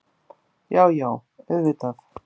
Já, já auðvitað.